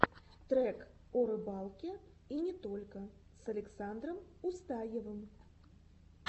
трек о рыбалке и не только с александром устаевым